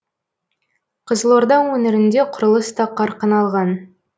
қызылорда өңірінде құрылыс та қарқын алған